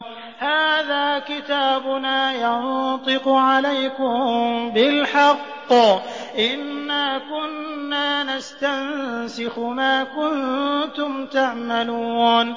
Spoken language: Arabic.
هَٰذَا كِتَابُنَا يَنطِقُ عَلَيْكُم بِالْحَقِّ ۚ إِنَّا كُنَّا نَسْتَنسِخُ مَا كُنتُمْ تَعْمَلُونَ